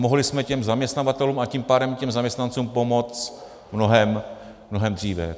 Mohli jsme těm zaměstnavatelům, a tím pádem i zaměstnancům pomoct mnohem dříve.